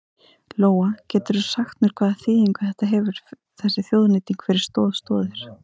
Lóa: Geturðu sagt mér hvaða þýðingu þetta hefur þessi þjóðnýting fyrir Stoð Stoðir?